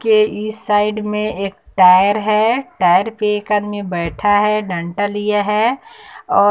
के इस साइड में एक टायर है टायर पे एक आदमी बैठा है डंटा लिया है औ--